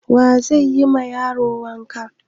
Wa zai yi ma yaron wanka?